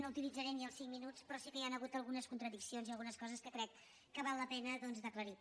no utilitzaré ni els cinc minuts però sí que hi han hagut algunes contradiccions i algunes coses que crec que val la pena d’aclarir